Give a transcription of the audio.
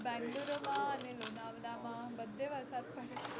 bangluru માં અને lonawala માં બધે વરસાદ પડે છે